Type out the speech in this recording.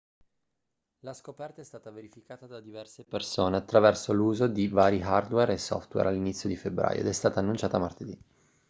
la scoperta è stata verificata da diverse persone attraverso l'uso di vari hardware e software all'inizio di febbraio ed è stata annunciata martedì